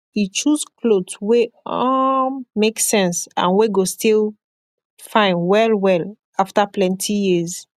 e choose kloth wey um make sense and wey go still fine wellwell afta plenti years